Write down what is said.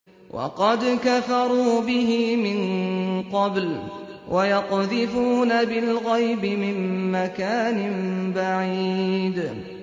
وَقَدْ كَفَرُوا بِهِ مِن قَبْلُ ۖ وَيَقْذِفُونَ بِالْغَيْبِ مِن مَّكَانٍ بَعِيدٍ